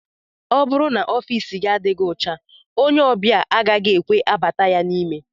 Ọ bụrụ n'ofici gị adịghị ọcha ónyé obia agaghị ekwe bata n'ime ya.